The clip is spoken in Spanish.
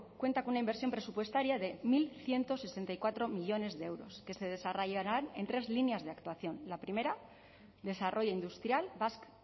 cuenta con una inversión presupuestaria de mil ciento sesenta y cuatro millónes de euros que se desarrollarán en tres líneas de actuación la primera desarrollo industrial basque